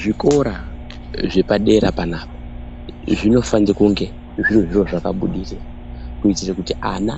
Zvikora zvepadera panapa zvinofane kunge zvine zviro zvakabudirira kuiitire kuti ana